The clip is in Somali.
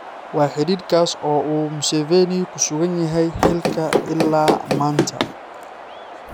Waa xidhiidhkaas oo uu Museveni ku sugan yahay xilka ilaa maanta.